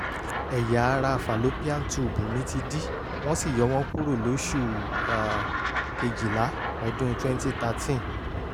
ẹ̀yà ara fàlópíàn túùbù mi ti dí wọ́n sì yọ wọ́n kúrò lóṣù um kejìlá ọdún twenty thirteen